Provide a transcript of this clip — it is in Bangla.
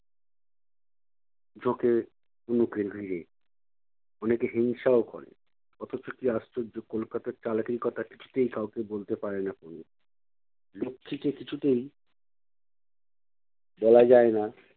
ঝোঁকে অনেকে হিংসাও করে। অথচ কী আশ্চর্য কলকাতার চালাকির কথা কিছুতেই কাউকে বলতে পারে না তনু। লক্ষীকে কিছুতেই বলা যায় না